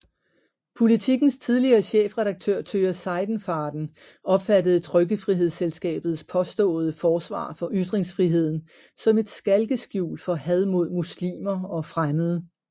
Politikens tidligere chefredaktør Tøger Seidenfaden opfattede Trykkefrihedsselskabets påståede forsvar for ytringsfriheden som et skalkeskjul for had mod muslimer og fremmede